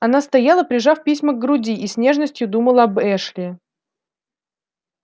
она стояла прижав письма к груди и с нежностью думала об эшли